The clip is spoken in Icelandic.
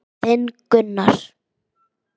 Þinn Gunnar.